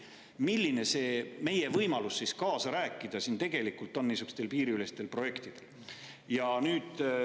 Milline on tegelikult meie võimalus kaasa rääkida niisuguste piiriüleste projektide puhul?